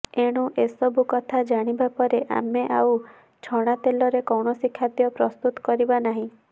ଏଣୁ ଏସବୁ କଥା ଜାଣିବା ପରେ ଆମେ ଅଉ ଛଣା ତେଲରେ କୌଣସି ଖାଦ୍ୟ ପ୍ରସ୍ତୁତ କରିବା ନାହିଁ